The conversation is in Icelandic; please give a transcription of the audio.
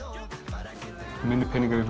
það eru minni peningar í